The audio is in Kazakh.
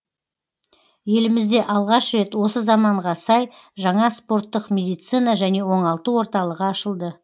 елімізде алғаш рет осы заманға сай жаңа спорттық медицина және оңалту орталығы ашылды